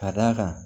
Ka d'a kan